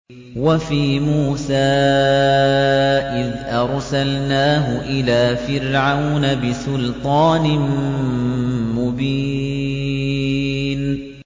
وَفِي مُوسَىٰ إِذْ أَرْسَلْنَاهُ إِلَىٰ فِرْعَوْنَ بِسُلْطَانٍ مُّبِينٍ